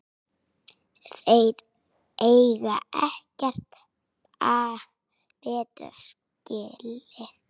Þeir eiga ekkert betra skilið